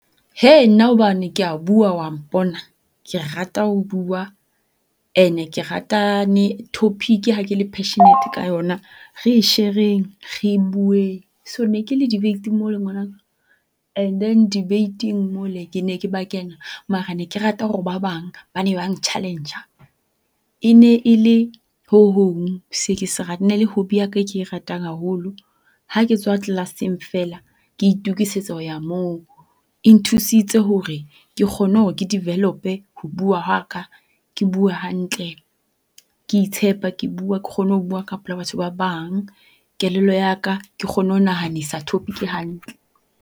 Hee nna hobane kea bua wa mpona, ke rata ho bua and-e ke ratane topic ha ke le passionate ka yona re share-eng re bukeng. So ne ke le debate-ing mole ngwanaka and then debate-eng mole, ke ne ke ba kena. Mara ne ke rata hore ba bang ba ne ba ng-challenge-a, e ne e le ho hong se ke se e ne e le hobby ya ka e ke e ratang haholo. Ha ke tswa class-eng feela ke itokisetsa ho ya moo. E nthusitse hore ke kgone hore ke develop-e ho bua ha ka ke bue hantle, ke itshepa, ke bua ke kgone ho bua ka pela batho ba bang. Kelello ya ka ke kgone ho nahanisa topic hantle.